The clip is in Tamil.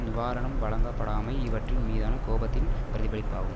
நிவாரணம் வழங்கப்படாமை இவற்றின் மீதான கோபத்தின் பிரதிபலிப்பாகும்